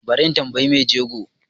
Bari in tambiyi mai jego